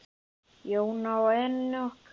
Jóna og Enok.